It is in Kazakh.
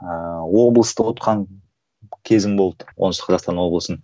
ыыы облысты ұтқан кезім болды оңтүстік қазақстан облысын